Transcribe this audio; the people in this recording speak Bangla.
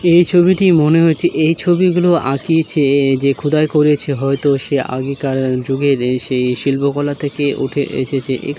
এই ছবিটি মনে হয়েছে এই ছবিগুলো আঁকিয়েছে | যে খোদাই করেছে হয়তো সে আগেকার যুগের সেই শিল্পকলা থেকে উঠে এসেছে | এ--